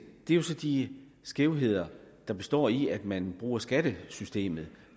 er så de skævheder der består i at man bruger skattesystemet